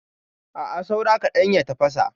A'a, saura kaɗan ya tafasa.